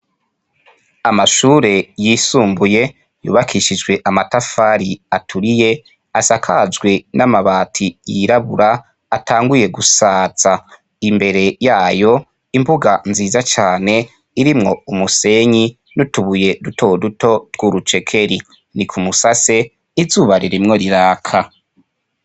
Amashure yisumbuye yubakishijwe amatafari aturiye asakajwe n'amabati yirabura atanguye gusaza. Imbere yayo imbuga nziza cane irimwo umusenyi n'utubuye dutoduto tw'urucekeri ni k'umusase izuba ririmwo riraka.